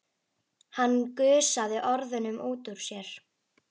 Hann gusaði orðunum út úr sér.